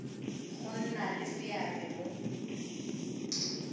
go nna le seabe mo